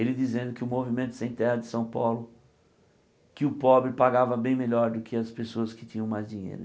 Ele dizendo que o Movimento Sem Terra de São Paulo, que o pobre pagava bem melhor do que as pessoas que tinham mais dinheiro.